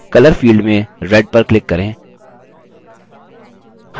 color field में red पर click करें